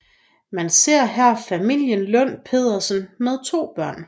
Man ser her familien Lund Petersen med to børn